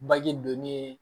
Baji donni